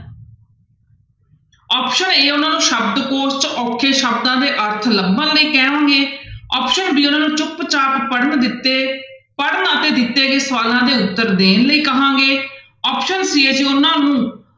Option a ਉਹਨਾਂ ਨੂੰ ਸ਼ਬਦ ਕੋਸ਼ 'ਚ ਔਖੇ ਸ਼ਬਦਾਂ ਦੇ ਅਰਥ ਲੱਭਣ ਲਈ ਕਹੋਂਗੇ option b ਉਹਨਾਂ ਨੂੰ ਚੁੱਪ ਚਾਪ ਪੜ੍ਹਨ ਦਿੱਤੇ ਪੜ੍ਹਨ ਅਤੇ ਦਿੱਤੇ ਗਏ ਸਵਾਲਾਂ ਦੇ ਉੱਤਰ ਦੇਣ ਲਈ ਕਹਾਂਗੇ option c ਹੈ ਜੀ ਉਹਨਾਂ ਨੂੰ